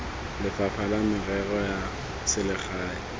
lefapha la merero ya selegae